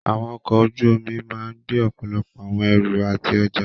Àwọn ọkọ̀ ojú omi máà gbé ọ̀pọ̀lọpọ̀ àwọn ẹrù àti ọjá.